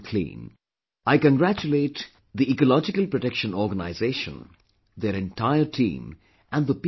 I congratulate Ecological Protection Organization, their entire team and the people of Chandrapur